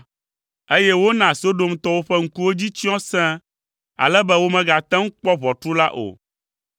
eye wona Sodomtɔwo ƒe ŋkuwo dzi tsyɔ sẽe, ale be womegate ŋu kpɔ ʋɔtru la o.